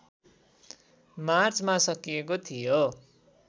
मार्चमा सकिएको थियो